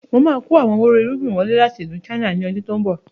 Máa kọ àwọn wò rò irúgbìn wọlé láti ìlú "China" ni ọdún tòun bọ̀